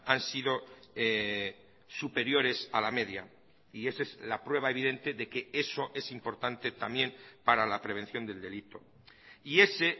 han sido superiores a la media y esa es la prueba evidente de que eso es importante también para la prevención del delito y ese